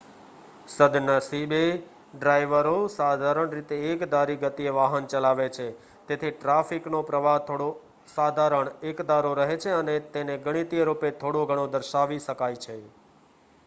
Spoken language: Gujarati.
સદ્નસીબે ડ્રાઇવરો સાધારણ રીતે એકધારી ગતિએ વાહન ચલાવે છે તેથી ટ્રાફિકનો પ્રવાહ થોડો સાધારણ એકધારો રહે છે અને તેને ગણિતીય રૂપે થોડોઘણો દર્શાવી શકાય છે